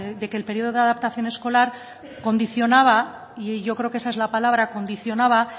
de que el periodo de adaptación escolar condicionaba y yo creo que esa es la palabra condicionaba